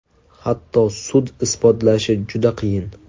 Hatto sud isbotlashi juda qiyin.